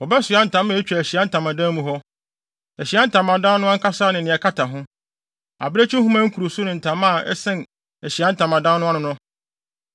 Wɔbɛsoa ntama a etwa Ahyiae Ntamadan mu hɔ, Ahyiae Ntamadan no ankasa ne nea ɛkata ho, abirekyi nhoma nkuruso ne ntama a ɛsɛn Ahyiae Ntamadan no ano no.